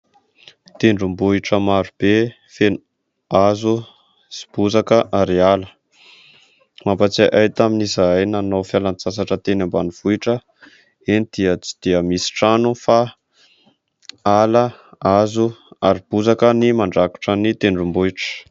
Tendrombohitra maro be feno hazo sy bozaka ary ala. Mampahatsiahy ahy tamin'izahay nanao fialan-tsasatra teny ambanivohitra. Eny dia tsy dia misy trano fa ala, hazo ary bozaka ny mandrafitra ny tendrombohitra.